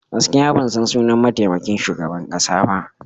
Gaskiya ban san sunan mataimakin shugaban kasa ba.